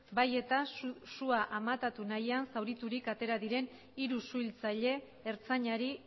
bai eta sua amatatu nahian zauriturik atera diren hiru suhiltzaile ertzainari